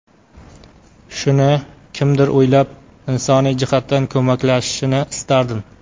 Shuni kimdir o‘ylab, insoniy jihatdan ko‘maklashishini istardim.